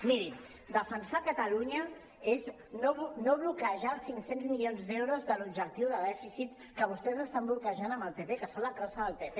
mirin defensar catalunya és no bloquejar els cinc cents milions d’euros de l’objectiu de dèficit que vostès estan bloquejant amb el pp que són la crossa del pp